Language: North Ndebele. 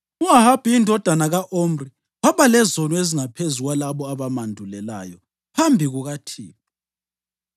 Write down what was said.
U-Ahabi indodana ka-Omri waba lezono ezingaphezu kwalabo abamandulelayo phambi kukaThixo.